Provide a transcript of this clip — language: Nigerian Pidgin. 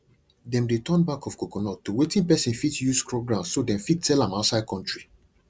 them de turn back of coconut to wetin person fit use scrub ground so them fit sell am outside country